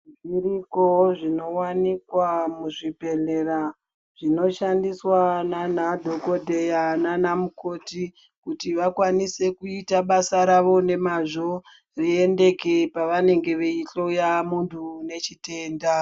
Zviriko zvinowanikwa muzvibhedhlera zvinoshandiswa nanadhogodheya, nanamukoti kuti vakwanise kuita basa ravo nemazvo, zviendeke pevanenge veihloya muntu unechitenda.